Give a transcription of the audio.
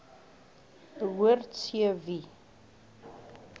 behoort c wie